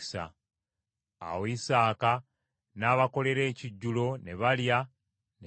Awo Isaaka n’abakolera ekijjulo ne balya ne banywa.